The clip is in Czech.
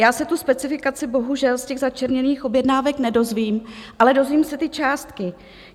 Já se tu specifikaci bohužel z těch začerněných objednávek nedozvím, ale dozvím se ty částky.